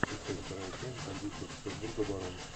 искать вторая часть бандитского петербурга барон